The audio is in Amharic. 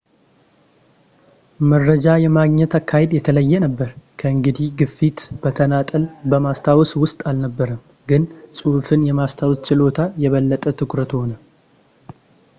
መረጃ የማግኘት አካሄድ የተለየ ነበር። ከእንግዲህ ግፊት በተናጠል በማስታወስ ውስጥ አልነበረም ፣ ግን ጽሑፍን የማስታወስ ችሎታ የበለጠ ትኩረት ሆነ